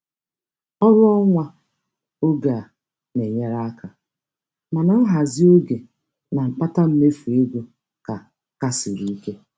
Ọrụ nwa oge a na-enyere aka, mana nhazị oge na mkpata mmefu ego ka ka siri ike.